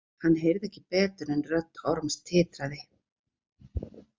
Hann heyrði ekki betur en rödd Orms titraði.